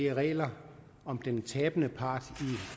regler om den tabende part